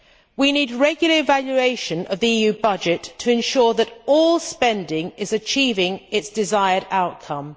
We need regular evaluation of the EU budget to ensure that all spending is achieving its desired outcome.